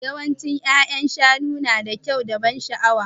Yawancin ya'yan shanu nada kyau da ban sha'awa.